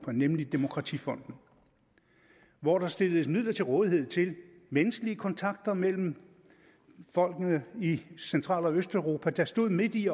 nemlig demokratifonden hvor der stilles midler til rådighed til menneskelige kontakter mellem folkene i central og østeuropa der stod midt i